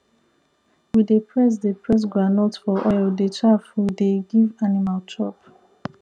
we dey press dey press groundnut for oil the chaff we dey give animal chop